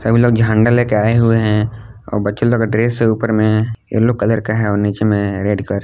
कुछ लोग झंडा ले के आए हुए हैं और बच्चे लोग का ड्रेस है ऊपर में येलो कलर का है और नीचे में रेड कलर--